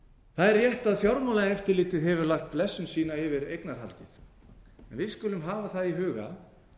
það er rétt að fjármálaeftirlitið hefur lagt blessun sína yfir eignarhaldið við skulum hafa það í huga